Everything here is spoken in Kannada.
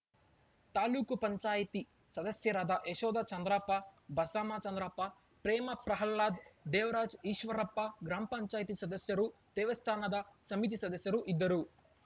ತಾಲೂಕು ಪಂಚಾಯಿತಿ ಸದಸ್ಯರಾದ ಯಶೋಧ ಚಂದ್ರಪ್ಪ ಬಸಮ್ಮ ಚಂದ್ರಪ್ಪ ಪ್ರೇಮ ಪ್ರಹ್ಲಾದ್‌ ದೇವರಾಜ್‌ ಈಶ್ವರಪ್ಪ ಗ್ರಾಮ ಪಂಚಾಯಿತಿ ಸದಸ್ಯರು ದೇವಸ್ಥಾನದ ಸಮಿತಿ ಸದಸ್ಯರು ಇದ್ದರು